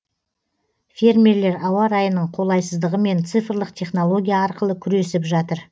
фермерлер ауа райының қолайсыздығымен цифрлық технология арқылы күресіп жатыр